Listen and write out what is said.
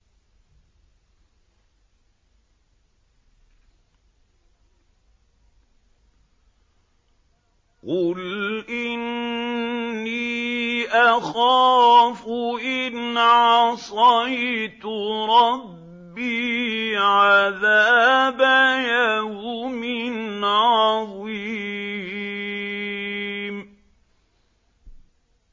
قُلْ إِنِّي أَخَافُ إِنْ عَصَيْتُ رَبِّي عَذَابَ يَوْمٍ عَظِيمٍ